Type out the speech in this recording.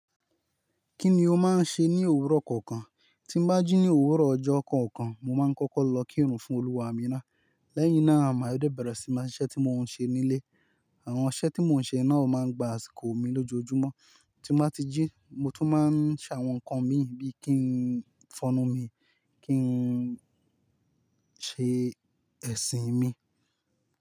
Kí ni o máa ń ṣe ní òwúrọ̀ kọ̀ọ̀kan? Tí n bá jí ní òwúrọ̀ ọjọ́ kọ̀ọ̀kan, mo máa ń kọ́kọ́ lọ kírun fún Olúwa mí ná. Lẹ́yìn náà, màá de bẹ̀rẹ̀ síí máa siṣẹ́ tí mo ń ṣe nílé. Àwọn iṣẹ́ tí mo ń ṣe náà o máa ń gba àsìkò mi lójoojúmọ́. Tí n bá ti jí, mo tún máa ń ṣe àwọn nǹkan mi bíi kí n fọnu mi, kí n ṣe ẹ̀sìn mi.